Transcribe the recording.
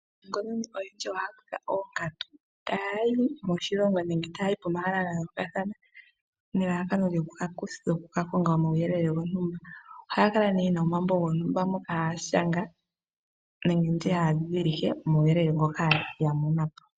Aanongononi oyendji ohaya kutha oonkatu ta yayi moshilongo nenge ta yayi pomahala ga yoolokathana nelalakano lyoku kakonga omauyelele gontumba. Ohaya kala ne yena omambo gontumba moka haya shanga nenge taya dhidhilike omauyelele ngoka ya mono po.